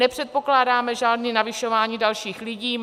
Nepředpokládáme žádné navyšování dalších lidí.